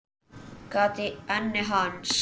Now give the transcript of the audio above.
Gat í enni hans.